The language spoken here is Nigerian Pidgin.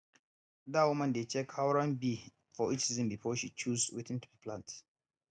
dat woman dey check how rain be for each season before she choose wetin to plant